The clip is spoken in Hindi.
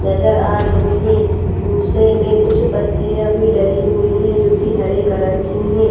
नजर आ रही हे भूसे में कुछ पत्तिया भी डाली हुई हे जो की हरे कलर की हैं।